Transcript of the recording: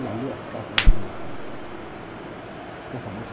Ela lê as cartas mais ou menos assim, cartomante